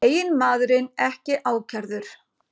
Eiginmaðurinn ekki ákærður